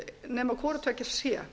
nema hvoru tveggja sé